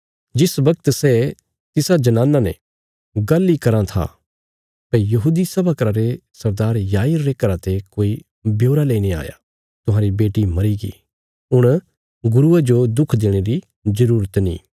जिस बगत सै तिसा जनाना ने गल्ल इ करी कराँ था भई यहूदी सभा घरा रे सरदार याईर रे घरा ते कोई ब्योरा लेईने आया तुहांरी बेटी मरीगी हुण गुरुये जो दुख देणे री जरूरत नीं